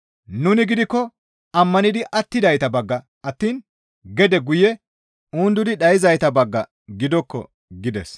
«Nuni gidikko ammanidi attidayta bagga attiin gede guye undudi dhayzayta bagga gidokko» gides.